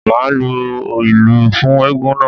Màá lu ìlù fún eégún náà.